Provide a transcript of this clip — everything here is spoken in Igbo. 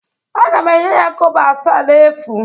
Aga m enye ya kobo asaa n'efu